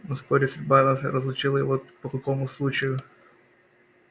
но вскоре судьба нас разлучила и вот по какому случаю